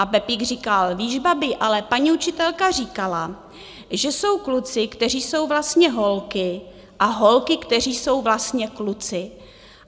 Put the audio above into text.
A Pepík říkal, víš, babi, ale paní učitelka říkala, že jsou kluci, kteří jsou vlastně holky, a holky, kteří jsou vlastně kluci.